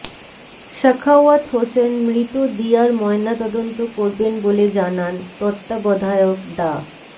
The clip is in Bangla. সাখাওয়াত হোসেন মৃত দিয়ার ময়নাতদন্ত করবেন বলে জানান তত্বাবধায়ক ডা